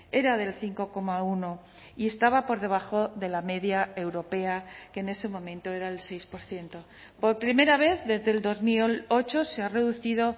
era del cinco coma uno y estaba por debajo de la media europea que en ese momento era el seis por ciento por primera vez desde el dos mil ocho se ha reducido